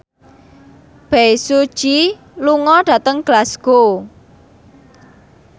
Bae Su Ji lunga dhateng Glasgow